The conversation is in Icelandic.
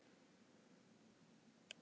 Hún kreistir hönd mína.